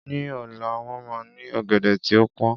Ní ọ̀la, wọ́n máa ní ọ̀gẹ̀dẹ̀ tí ó pọn